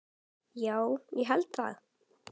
Já, ég held það.